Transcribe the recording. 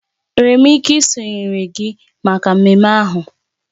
Enwere m ike isonyere gị maka mmemme ahụ?